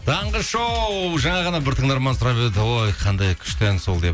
таңғы шоу жаңа ғана бір тыңдарман сұрап еді ой қандай күшті ән сол деп